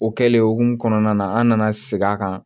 O kɛlen o hukumu kɔnɔna na an nana segin a kan